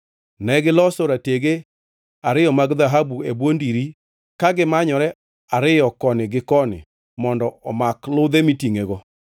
Negiloso ratege ariyo mag dhahabu e bwo ndiri ka gimanyore ariyo koni gi koni mondo omak ludhe mitingʼego.